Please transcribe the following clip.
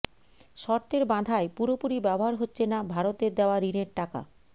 শর্তের বাধায় পুরোপুরি ব্যবহার হচ্ছে না ভারতের দেওয়া ঋণের টাকা